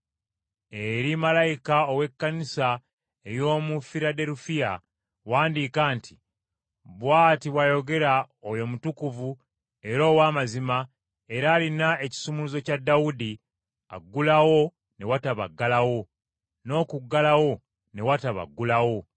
“Eri malayika ow’Ekkanisa ey’omu Firaderufiya wandiika nti: Bw’ati bw’ayogera oyo Omutukuvu era ow’amazima era alina ekisumuluzo kya Dawudi aggulawo ne wataba aggalawo, n’okuggalawo ne wataba aggulawo.